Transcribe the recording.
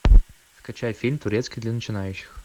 скачай фильм турецкий для начинающих